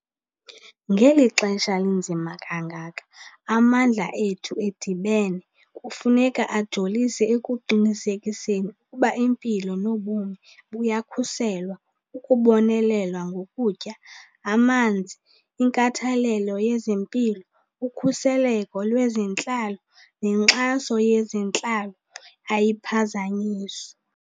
Ngeli xesha linzima kangaka, amandla ethu edibene kufuneka ajolise ekuqinisekiseni ukuba impilo nobomi buyakhuselwa, ukubonelelwa ngokutya, amanzi, inkathalelo yezempilo, ukhuseleko lwezentlalo nenkxaso yezentlalo ayiphazanyiswa.